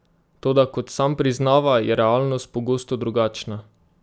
Toda kot sam priznava, je realnost pogosto drugačna.